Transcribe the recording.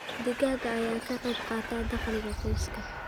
Digaagga ayaa ka qayb qaata dakhliga qoyska.